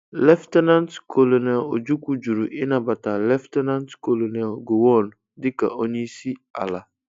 Lt. Col. Ojukwu juru ịnabata Lt. Col Gowon dịka onye isi ala.